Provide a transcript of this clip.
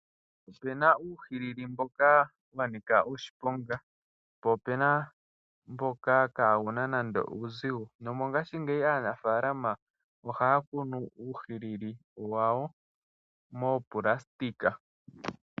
Opu na uuhilili mboka wa nika oshiponga po ope na mboka kawu na nando uuzigo. Nomongashingeyi aanafaalama ohaya kunu uuhilili wa wo moonayilona.